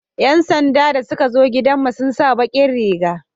yan sanda da suka zo gidan mu sun sa bakin Riga